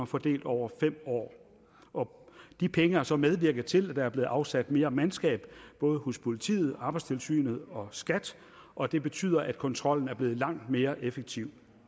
fordelt over fem år og de penge har så medvirket til at der er blevet afsat mere mandskab både hos politiet arbejdstilsynet og skat og det betyder at kontrollen er blevet langt mere effektiv